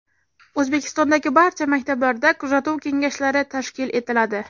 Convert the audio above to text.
O‘zbekistondagi barcha maktablarda kuzatuv kengashlari tashkil etiladi.